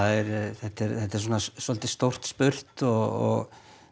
þetta er þetta er svolítið stórt spurt og